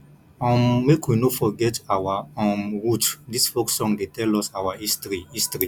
um make we no forget our um root dis folk song dey tell us our history history